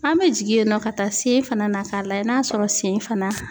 An bɛ jigin yen nɔ ka taa sen fana na k'a lajɛ n'a sɔrɔ sen fana